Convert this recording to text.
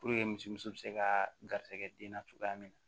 misi muso be se kaa garisɛgɛ den na cogoya min na